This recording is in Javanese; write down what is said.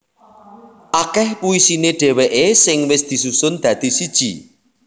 Akeh puisine dheweke sing wis disusun dadi siji